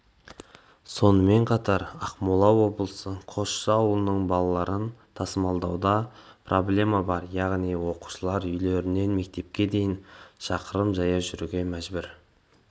сонымен қатар ақмола облысы қосшы ауылының балаларын тасымалдауда да проблема бар яғни оқушылар үйлерінен мектепке дейін шақырым жаяу жүруге мәжбүр